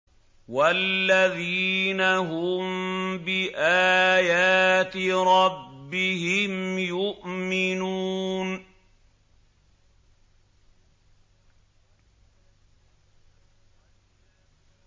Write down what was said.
وَالَّذِينَ هُم بِآيَاتِ رَبِّهِمْ يُؤْمِنُونَ